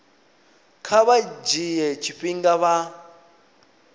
kha vha dzhie tshifhinga vha